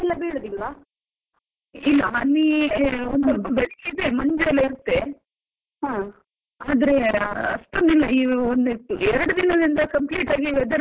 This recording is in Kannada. ಇಲ್ಲ, ಹನಿ ಒಂದ್ ಸ್ವಲ್ಪ ಬೆಳಿಗ್ಗೆ ಇದೆ ಸ್ವಲ್ಪ ಮಂಜೆಲ್ಲಾ ಇರುತ್ತೆ, ಆದ್ರೆ ಅಷ್ಟೊಂದಿಲ್ಲ ಈಗ ಎರಡು ದಿನದಿಂದ complete ಆಗಿ weather change ನೆ change ಆಗಿ ಹೋಗಿದೆ.